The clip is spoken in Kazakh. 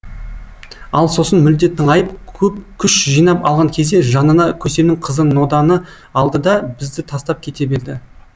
ал сосын мүлде тыңайып көп күш жинап алған кезде жанына көсемнің қызы ноданы алды да бізді тастап кете берді